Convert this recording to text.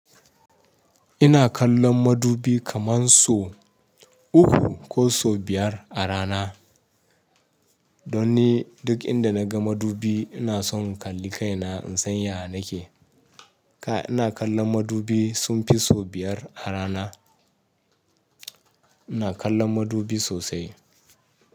Ina kallon madubi kaman so uku ko so biyar a rana. Don ni duk inda naga madubi ina son kalli kaina in san ya nake. Ka ina kallon madubi sun fi so biyar a rana. Ina kallon madubi sosai.